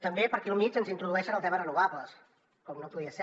també per aquí al mig ens introdueixen el tema renovables com no podia ser